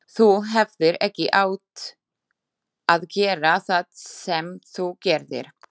Þú hefðir ekki átt að gera það sem þú gerðir.